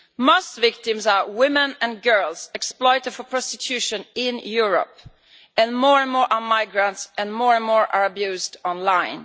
Most victims are women and girls, exploited for prostitution in Europe and more and more are migrants and more and more are abused online.